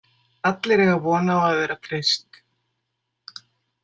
Allir eiga von á að vera treyst.